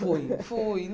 Fui, fui.